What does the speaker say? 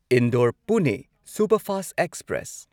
Indore Pune superfast express